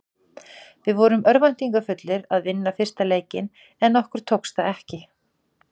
Við vorum örvæntingarfullir að vinna fyrsta leikinn en okkur tókst það ekki.